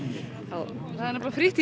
á það er nefnilega frítt